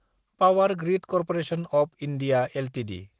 power grid corporation of India Ltd